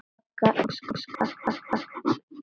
Hann skaffar vel.